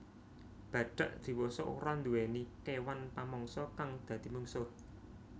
Badhak diwasa ora nduwèni kéwan pamangsa kang dadi mungsuh